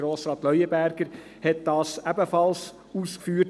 Grossrat Leuenberger hat das ebenfalls ausgeführt.